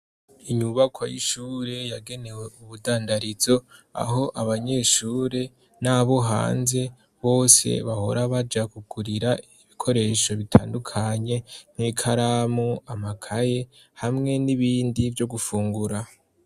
inyubakwa y'ishuri yagenewe ubudandarizo, aho abanyeshure n'abo hanze bose bahora baja kugurira ibikoresho bitandukanye, nk'ikaramu, amakaye, hamwe n'ibindi vyo gufungura.